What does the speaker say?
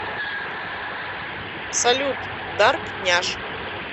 салют дарк няш